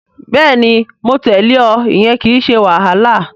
Bẹ́ẹ̀ni mo lè tẹ̀lẹ́ ọ. Ìyẹn kìí ṣe wàhálà